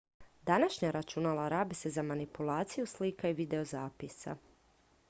današnja računala rabe se za manipulaciju slika i videozapisa